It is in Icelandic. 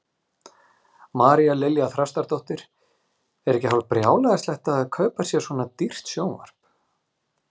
María Lilja Þrastardóttir: Er ekki hálf brjálæðislegt að kaupa sér svona dýrt sjónvarp?